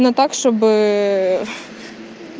ну так чтобы